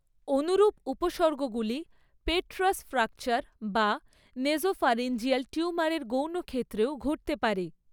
অনুরূপ উপসর্গগুলি petrous fracture বা নেসোফ্যারিঞ্জিয়াল টিউমারের গৌণ ক্ষেত্রেও ঘটতে পারে।